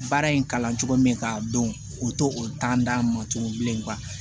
Baara in kalan cogo min k'a dɔn o t'o o d'an ma tugun bilen